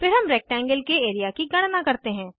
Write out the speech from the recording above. फिर हम रेक्टेंगल के एरिया की गणना करते हैं